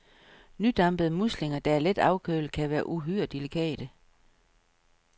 Nydampede muslinger, der er let afkølede, kan være uhyre delikate.